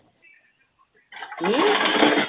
কি